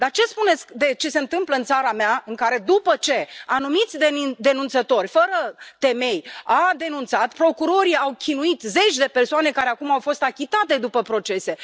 Dar ce spuneți de ce se întâmplă în țara mea, în care, după ce anumiți denunțători, fără temei, au denunțat, procurorii au chinuit zeci de persoane, care acum au fost achitate după procese.